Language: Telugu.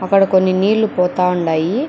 అక్కడ కొన్ని నీళ్లు పోతా ఉండాయి.